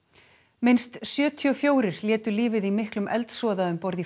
minnst sjötíu og fjögur létu lífið í miklum eldsvoða um borð í